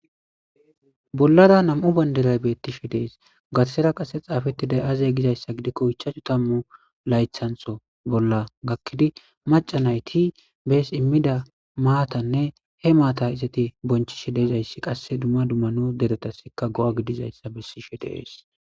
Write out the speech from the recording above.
Bollara nam'u banderay beettishi dees gatasera qase xaafeti day'aze gizayssa gidikko ichachu tammu laythantho bolla gakkidi macanayti bees immida maatanne he maata izati bonchi shi dezayssi qasse dumma dummanu deretasika go'a gidizayssa bessishe dees